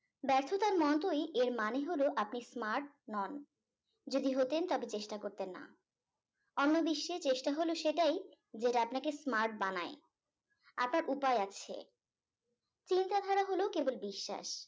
ব্যর্থতার মতই এর মানে হল আপনি smart নন যদি হতেন তবে চেষ্টা করতেন না অন্য বিশ্বে চেষ্টা হলো সেটাই যেটা আপনাকে smart বানায় আপনার উপায় আছে চিন্তাধারা হলো কেবল বিশ্বাস